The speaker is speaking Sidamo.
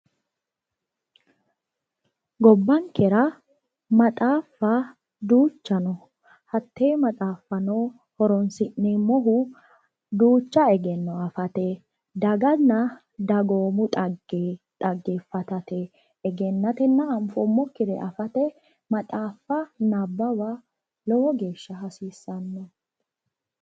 Gobbankera maxaaffa duucha no. hatee maxaaffa horonssi'nemmohu duucha egenno afate. daganna dagoomu xagge afate, anffooommokkira afate maxaaffa nabawa hasiissanno.